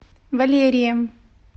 валерием